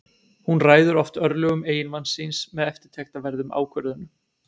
hún ræður oft örlögum eiginmanns síns með eftirtektarverðum ákvörðunum